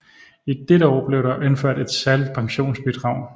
I dette år blev der indført et særligt pensionsbidrag